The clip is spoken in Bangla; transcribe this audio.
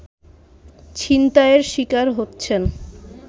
ছিনতাইয়ের শিকার হচ্ছেন